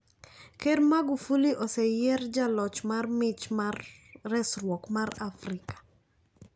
Ker Magufuli oseyier jaloch mar mich mar resruok mar Afrika.